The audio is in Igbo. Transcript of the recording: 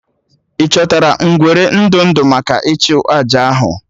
Ị chọtara ngwere ndụ ndụ maka ịchụ àjà ahụ?